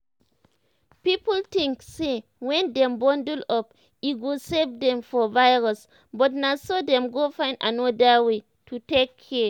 people think say when dem bundle up e go save dem from virus but na so dem go find another way to take care.